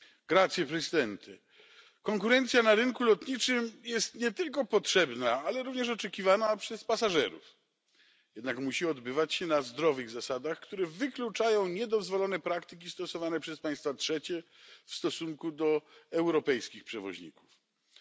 Panie Przewodniczący! Konkurencja na rynku lotniczym jest nie tylko potrzebna, ale również oczekiwana przez pasażerów, jednak musi odbywać się na zdrowych zasadach, które wykluczają niedozwolone praktyki stosowane przez państwa trzecie w stosunku do przewoźników europejskich.